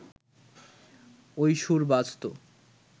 ওই সুর বাজতো